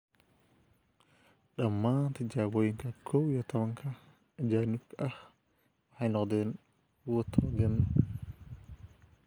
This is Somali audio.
Dhammaan tijaabooyinka kow iyo tobanka ajaanibka ah waxay noqdeen kuwo togan.